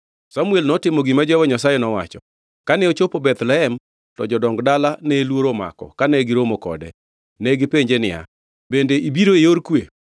Samuel notimo gima Jehova Nyasaye nowacho. Kane ochopo Bethlehem, to jodong dala ne luoro omako kane giromo kode. Negipenje niya, “Bende ibiro e yor kwe?”